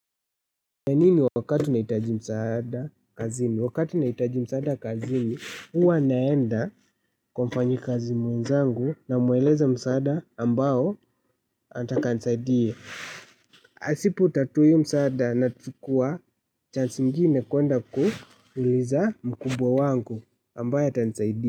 Ya nini wakati unahitaji msaada kazini? Wakati unahitaji msaada kazini, huwa naenda kwa mfanyikazi mwenzangu namueleza msaada ambao anataka anisaidie. Asipotatua iyo msaada nachukua chansi ingine kuenda kuuliza mkubwa wangu ambaye atanisaidia.